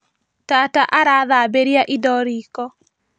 Tata arathambĩria indo riko